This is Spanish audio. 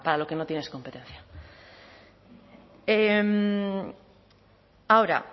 lo que no tienes competencia ahora